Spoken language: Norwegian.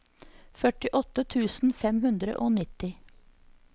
førtiåtte tusen fem hundre og nitti